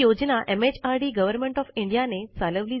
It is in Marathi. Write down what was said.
हि योजना एमएचआरडी गव्हर्नमेंट ओएफ इंडिया